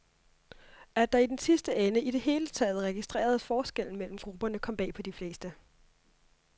At der i den sidste ende i det hele taget registreredes forskel mellem grupperne, kom bag på de fleste.